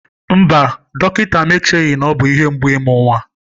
Mba, dọkịta m echeghị na ọ bụ ihe mgbu imu nnwa.